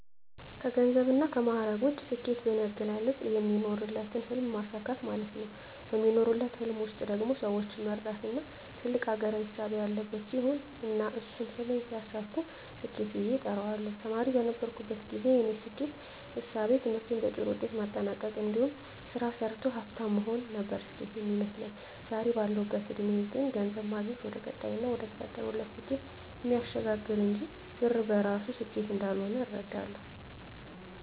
ከገንዘብና ከማዕረግ ውጭ፣ ስኬት በኔ አገላለጽ የሚኖሩለትን ህልም ማሳካት ማለት ነው። በሚኖሩለት ህልም ውስጥ ደግሞ ሰወችን የመርዳትና ትልቅ አገራዊ እሳቤ ያለበት ሲሆን እና እሱን ህልም ሲያሳኩ ስኬት ብየ እጠራዋለሁ። ተማሪ በነበርኩበት ግዜ የኔ ስኬት እሳቤ ትምህርቴን በጥሩ ውጤት ማጠናቅ እንዲሁም ስራ ሰርቶ ሀፍታም መሆን ነበር ስኬት ሚመስለኝ። ዛሬ ባለሁበት እድሜ ግን ገንዘብ ማግኘት ወደቀጣይና ወደተፈጠሩለት ስኬት እሚያሸጋግር እንጅ ብር በራሱ ስኬት እንዳልሆነ እረዳለሁ።